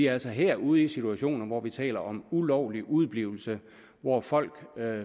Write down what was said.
altså her ude i situationer hvor vi taler om ulovlig udeblivelse hvor folk